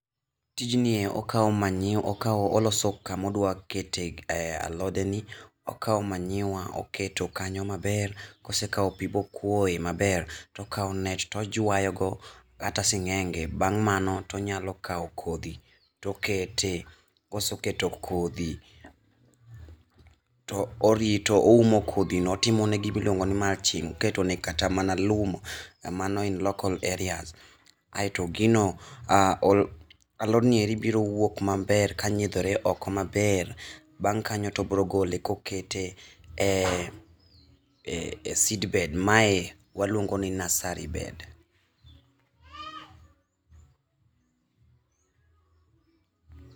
Tijni ni e okao manyuwa, okao, oloso kama odwa kete alode ni, okao manyuwa ,oketo kanyo maber, kosekao pii mokuo maber tokao net tojwayo go kata singenge. Bang' mano tonyalo kao kodhi tokete, kosekete kodhi to orito, oumo kodhi no, otimone gima iluongo ni mulching. Iketo kata mana. lum, mano en local areas. Aito gino, alod niendi biro wuok maber kanyiedhore oko maber. Bang' kanyo tobiro gole kokete e ,e seedbed, mae waluongo ni nursery bed